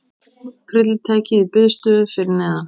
Tryllitækið í biðstöðu fyrir neðan.